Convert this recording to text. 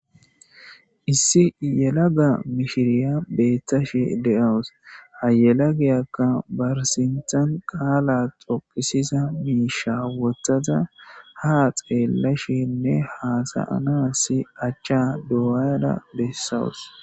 Issi yelaga mishiriya beettashe de'awus hayelagiyakka barsintan qaala xopisisa miisha wottaza ha xeellashinne haasayana si achcha du'ada bessawus.